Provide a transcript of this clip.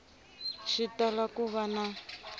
xi tala ku va na